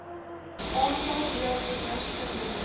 aantal deelnemers verminder